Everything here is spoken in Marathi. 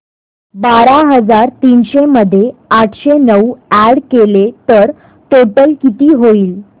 बारा हजार तीनशे मध्ये आठशे नऊ अॅड केले तर टोटल किती होईल